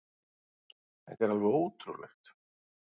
Þetta er alveg ótrúlegt.